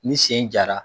Ni sen jara